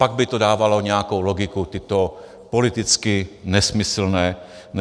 Pak by to dávalo nějakou logiku, tyto politicky nesmyslné kroky.